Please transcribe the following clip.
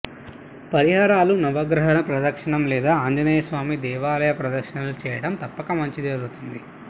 పరిహారాలు నవగ్రహ ప్రదక్షణ లేదా ఆంజనేయస్వామి దేవాలయ ప్రదక్షణలు చేయండి తప్పక మంచి జరుగుతుంది